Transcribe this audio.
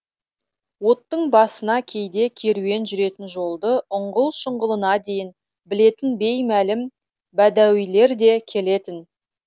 оттың басына кейде керуен жүретін жолды ұңғыл шұңғылына дейін білетін беймәлім бәдәуилер де келетін